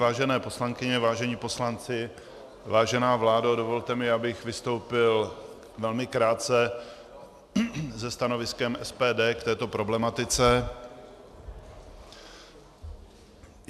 Vážené poslankyně, vážení poslanci, vážená vládo, dovolte mi, abych vystoupil velmi krátce se stanoviskem SPD k této problematice.